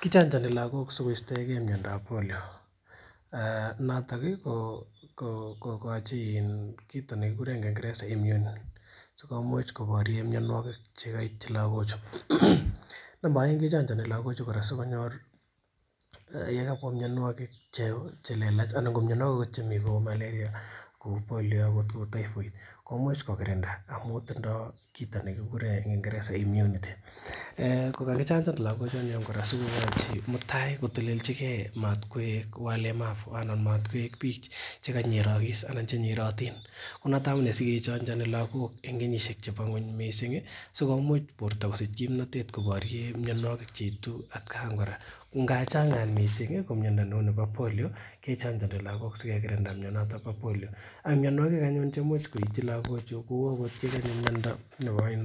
Kichonjoni lagok sikostoigee miondab polio noton kokochi kit nekikuren kingereza immune sikomuch koborien mionwogik chekoityi lagok chu namba oeng kechonjoni kora lagok chu kora sikonyor yekabwa mionwogik chelelach ana ko mionwogik cheu malaria kou polio kou typhoid komuch kokirinda amun tindoo kit nekikuren en kingereza immunity kokakichanjan lagok kora sikokochi Mutai kotelenji gee matkoik walemavu anan matkoik biik chekanyerogis ana chenyerotin konoton amunee sikechonjoni lagok en kenyisiek chebo ng'weny missing sikomuch borto kosich kimnotet koborien mionwogik cheitu atkan tugul kora ko ngap chan kora ko miondo neu polio kechonjoni lagok sikekirinda mionoton bo polio ak mionwogik anyun cheimuch koityi logochu kou miondo nekochin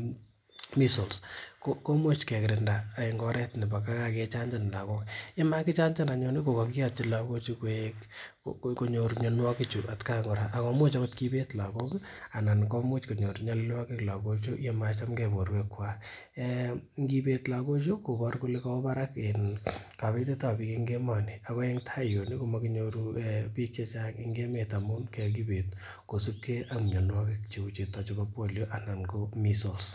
measles komuch kekirinda en oret nebo kakechanjan lagok yemakichanjan anyun ih kokakiyotyi lagok koik konyor mionwogik chu atkai kora ako imuch akot kibeet lagok anan komuch konyor nyolilwogik lagok chu yemachamgee borwek kwak, ngibet lagok chu kokobor kole kowo barak kabetetab biik en emoni ako en tai yun komokinyoru biik chechang en emet amun kokibeet kosipgee ak mionwogik cheu chuton chebo polio anan ko measles